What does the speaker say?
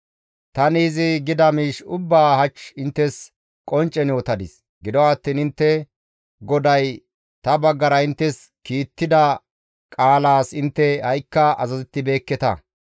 Tani izi gida miish ubbaa hach inttes qonccen yootadis; gido attiin intte GODAY ta baggara inttes kiittida qaalas intte ha7ikka azazettibeekketa.